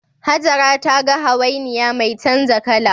Hajara ta ga hawainiya mai canza kala